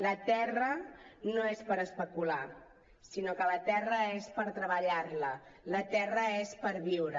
la terra no és per especular sinó que la terra és per treballar la la terra és per viure